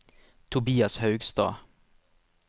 Tobias Haugstad